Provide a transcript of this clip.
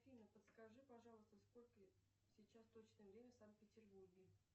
афина подскажи пожалуйста сколько сейчас точное время в санкт петербурге